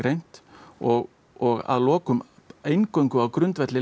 og og að lokum eingöngu á grundvelli